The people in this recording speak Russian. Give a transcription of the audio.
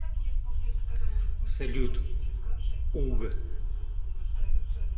салют уг